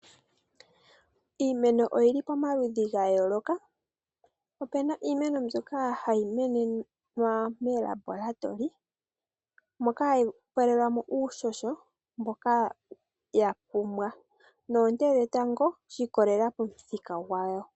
Iimeno oyili pomaludhi ga yoloka. Opuna iimeno mbyoka hayi menekwa moLabolatory moka hayi pelwamo uuhoho mboka ya pumbwa nonte dhetango dhi ikolela pamuthika gwayo.